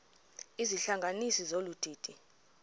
izihlanganisi zolu didi